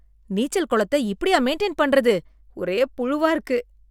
நீச்சல் குளத்தை இப்படியா மெயின்டைன் பண்றது, ஒரே புழுவா இருக்கு.